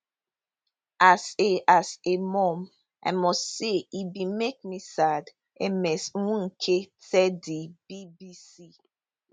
as a as a mum i must say e bin make me sad ms nweke tell di bbc